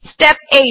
step 8